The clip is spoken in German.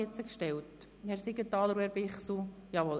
Stellen Sie den Antrag neu als Rückweisungsantrag?